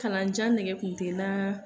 Kalanjan nege kun te naa